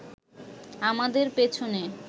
আমাদের পেছনে